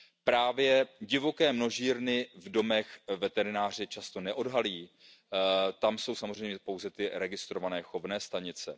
Právě divoké množírny v domech veterinářů často neodhalí, tam jsou samozřejmě pouze ty registrované chovné stanice.